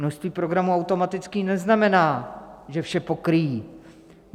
Množství programů automaticky neznamená, že vše pokryjí.